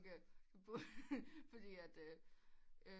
Okay fordi at øh